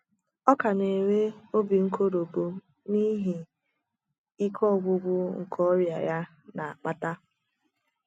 Ọ ka na - enwe obi nkoropụ n’ihi ike ọgwụgwụ nke ọrịa ya na - akpata.